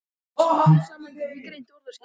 Smám saman gat ég greint orðaskil.